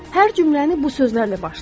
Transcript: Hər cümləni bu sözlərlə başlayın.